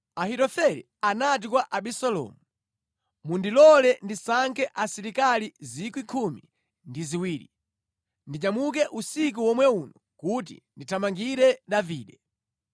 Ahitofele anati kwa Abisalomu, “Mundilole ndisankhe asilikali 12,000, ndinyamuke usiku womwe uno kuti ndithamangire Davide.